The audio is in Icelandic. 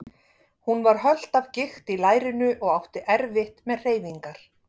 Hún var hölt af gikt í lærinu og átti erfitt með hreyfingar.